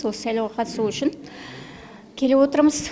осы сайлауға қатысу үшін келіп отырмыз